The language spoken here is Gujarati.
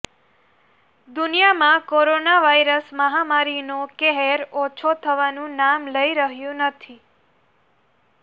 દુનિયામાં કોરોના વાયરસ મહામારીનો કહેર ઓછો થવાનું નામ લઇ રહ્યું નથી